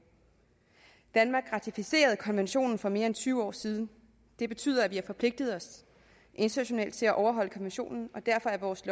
danmark ratificerede konventionen for mere end tyve år siden det betyder at vi har forpligtet os internationalt til at overholde konventionen og derfor er vores